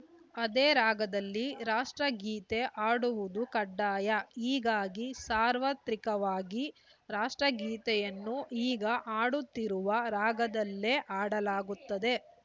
ಅದೇ ರಾಗದಲ್ಲಿ ರಾಷ್ಟ್ರಗೀತೆ ಹಾಡುವುದು ಕಡ್ಡಾಯ ಹೀಗಾಗಿ ಸಾರ್ವತ್ರಿಕವಾಗಿ ರಾಷ್ಟ್ರಗೀತೆಯನ್ನು ಈಗ ಹಾಡುತ್ತಿರುವ ರಾಗದಲ್ಲೇ ಹಾಡಲಾಗುತ್ತದೆ